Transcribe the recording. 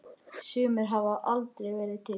Sumir hafa aldrei verið til.